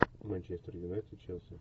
манчестер юнайтед челси